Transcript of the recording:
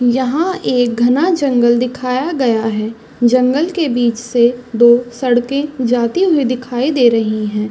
यहाँ एक घाना जंगल दिखाया गया है जंगल के बीच से दो सड़के जाती हुई दिखाई दे रही है।